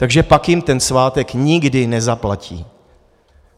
Takže pak jim ten svátek nikdy nezaplatí.